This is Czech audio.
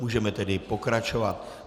Můžeme tedy pokračovat.